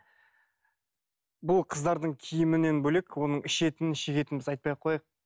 бұл қыздардың киімінен бөлек оның ішетінін шегетінін біз айтпай ақ қояйық